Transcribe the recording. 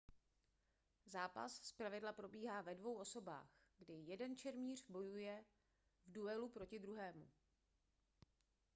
zápas zpravidla probíhá ve dvou osobách kdy jeden šermíř bojuje v duelu proti druhému